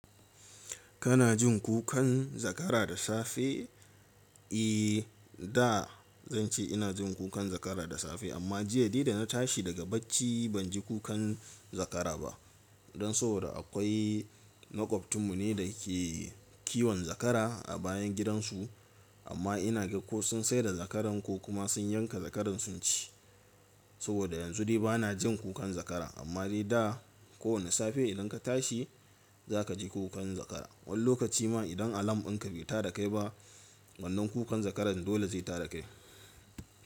Kana jin kukan zakara da safe? Ehh da zan ce ina jin kukan zakara da safe amma jiya dai da na tashi daga bacci banji kukan zakara ba. Dan saboda akwai makwabcinmu ne da ke kiwon zakara a bayan gidan su amma ina ga ko sun saida zakaran ko kuma sun yanka zakaran sun ci. Saboda yanzu dai bana jin kukan zakara amma dai da ko wani safe idan ka tashi zaka ji kukan zakara. Wani lokaci ma idan alam ɗinka bai tada kai ba wannan kukan zakaran dole zai tada kai.